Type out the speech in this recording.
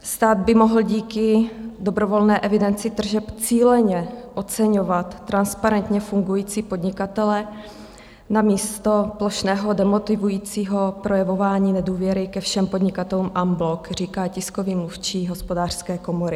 Stát by mohl díky dobrovolné evidenci tržeb cíleně oceňovat transparentně fungující podnikatele namísto plošného demotivujícího projevování nedůvěry ke všem podnikatelům en bloc, říká tiskový mluvčí Hospodářské komory.